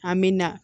An bɛ na